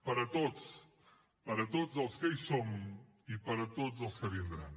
per a tots per a tots els que hi som i per a tots els que vindran